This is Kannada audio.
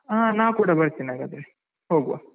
ಹಾ ನಾ ಕೂಡ ಬರ್ತ್ತೇನೆ ಹಾಗಾದ್ರೆ, ಹೋಗುವ.